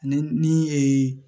Ni ni ee